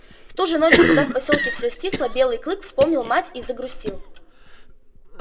в ту же ночь когда в посёлке всё стихло белый клык вспомнил мать и загрустил